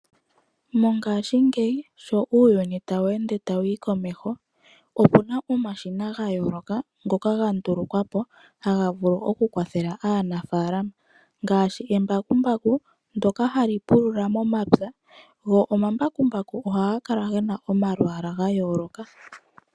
Mongaashingeyi sho uuyuni tawu ende tawu yi komeho opu na omashina ga yooloka ngoka ga ndulukwapo haga vulu okukwathela aanafalama ngaashi embakumbaku ndyoka hali pulula momapya go omambakumbaku oha ga kala ge na omalwaala ga yooloka.